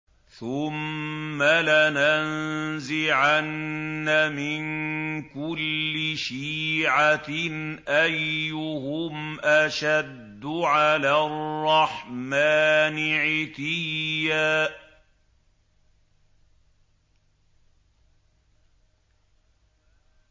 ثُمَّ لَنَنزِعَنَّ مِن كُلِّ شِيعَةٍ أَيُّهُمْ أَشَدُّ عَلَى الرَّحْمَٰنِ عِتِيًّا